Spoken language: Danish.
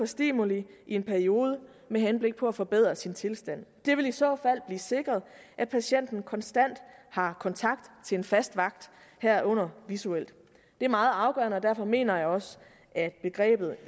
stimuli i en periode med henblik på at forbedre sin tilstand det vil i så fald blive sikret at patienten konstant har kontakt til en fast vagt herunder visuelt det er meget afgørende og derfor mener jeg også at begrebet